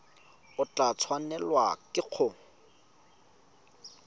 o tla tshwanelwa ke go